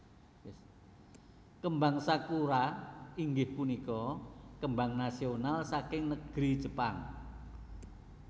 Kembang Sakura inggih punika kembang nasional saking negri Jepang